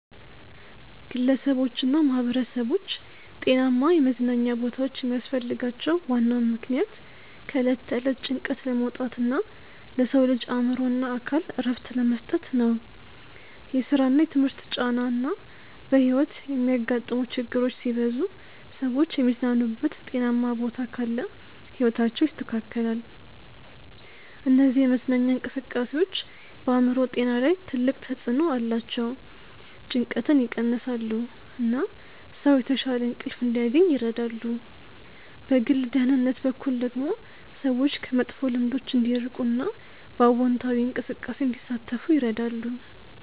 ግለሰቦችና ማህበረሰቦች ጤናማ የመዝናኛ ቦታዎች የሚያስፈልጋቸው ዋናው ምክንያት ከዕለት ተዕለት ጭንቀት ለመውጣት እና ለሰው ልጅ አእምሮና አካል እረፍት ለመስጠት ነው። የስራና የትምህርት ጫና እና በሕይወት የሚያጋጥሙ ችግሮች ሲበዙ ሰዎች የሚዝናኑበት ጤናማ ቦታ ካለ ሕይወታቸው ይስተካከላል። እነዚህ የመዝናኛ እንቅስቃሴዎች በአእምሮ ጤና ላይ ትልቅ ተጽዕኖ አላቸው። ጭንቀትን ይቀንሳሉ፣ እና ሰው የተሻለ እንቅልፍ እንዲያገኝ ይረዳሉ። በግል ደህንነት በኩል ደግሞ ሰዎች ከመጥፎ ልምዶች እንዲርቁ እና በአዎንታዊ እንቅስቃሴ እንዲሳተፉ ይረዳሉ።